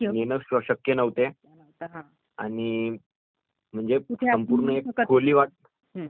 म्हणजे संपूर्ण एक खोली लागायची त्याला..